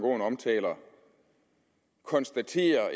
aaen omtaler konstaterer at